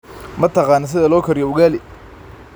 Ma taqaan sida loo kariyo ugali?